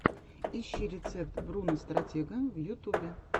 ищи рецепт бруно стратега в ютубе